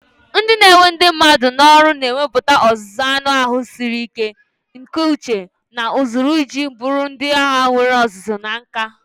Ndị na-ewe ndị mmadụ n'ọrụ na-enweta ọzụzụ anụ ahụ siri ike, nke uche, na usoro iji bụrụ ndị agha nwere ọzụzụ na nka.